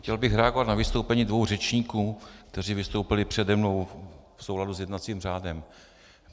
Chtěl bych reagovat na vystoupení dvou řečníků, kteří vystoupili přede mnou, v souladu s jednacím řádem.